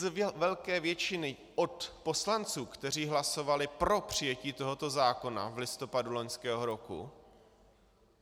Z velké většiny od poslanců, kteří hlasovali pro přijetí tohoto zákona v listopadu loňského roku.